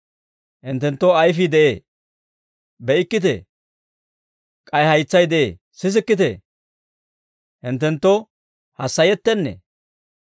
Hinttenttoo ayfii de'ee; be'ikkitee? K'ay haytsay de'ee; sisikkitee? Hinttenttoo hassayettennee?